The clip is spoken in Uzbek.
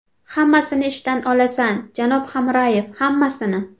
Hammasini ishdan olasan, janob Hamrayev, hammasini.